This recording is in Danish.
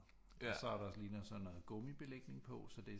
Og så er der ligner sådan noget gummibelægning på så det